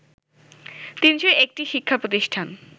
৩০১টি শিক্ষা প্রতিষ্ঠান